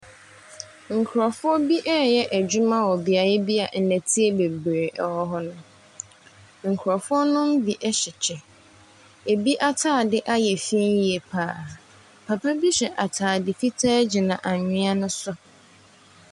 Nkurɔfoɔ bi reyɛ adwuma wɔ beaeɛ bi a nnɛteɛ bebree wɔ hɔnom. Nkurɔfoɔ no bi hyɛ kyɛ. Ebi atade ayɛ fi yie pa ara. Papa bi hyɛ atade fitaa gyina anwea no so.